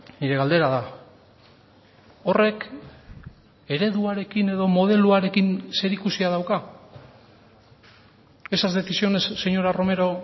nire galdera da horrek ereduarekin edo modeloarekin zer ikusia dauka esas decisiones señora romero